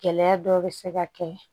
Gɛlɛya dɔ bɛ se ka kɛ